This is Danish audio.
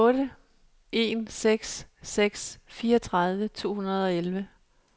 otte en seks seks fireogtredive to hundrede og elleve